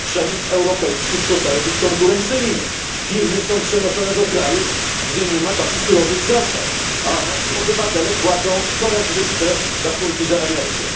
Przemysł europejski przestaje być konkurencyjny, firmy są przenoszone do krajów, gdzie nie ma takich surowych zasad, a nasi obywatele płacą coraz wyższe rachunki za energię.